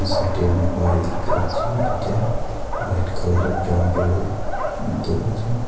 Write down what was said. সাইডে আমি বাড়ি দেখতে পাচ্ছি দুইটা হোয়াইট কালার আর ব্রাউন কালারের উ দরজা।